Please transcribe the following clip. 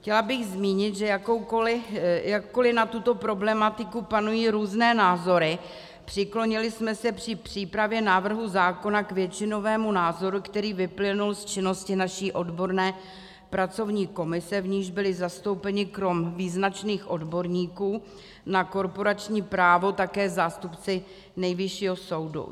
Chtěla bych zmínit, že jakkoli na tuto problematiku panují různé názory, přiklonili jsme se při přípravě návrhu zákona k většinovému názoru, který vyplynul z činnosti naší odborné pracovní komise, v níž byli zastoupeni krom význačných odborníků na korporační právo také zástupci Nejvyššího soudu.